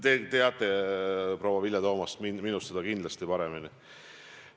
Te teate, proua Vilja Toomast, seda kindlasti minust paremini.